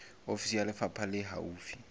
ofisi ya lefapha le haufi